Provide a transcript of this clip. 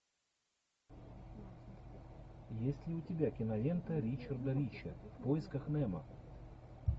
есть ли у тебя кинолента ричарда рича в поисках немо